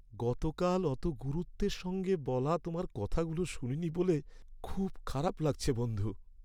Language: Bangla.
গতকাল অত গুরুত্বের সঙ্গে বলা তোমার কথাগুলো শুনিনি বলে খুব খারাপ লাগছে বন্ধু।